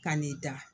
Ka n'i da